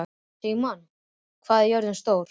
Sigmann, hvað er jörðin stór?